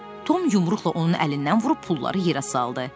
Tom yumruqla onun əlindən vurub pulları yerə saldı.